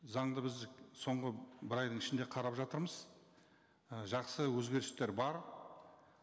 заңды біз соңғы бір айдың ішінде қарап жатырмыз і жақсы өзгерістер бар